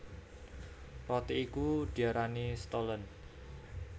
Roti iku diarani Stollen